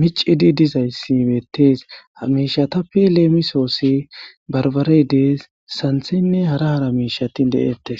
micidi dizayssibeettees hamiishatappe leemisoossi barbarey dees santhenne hara hara miishati de'ettes.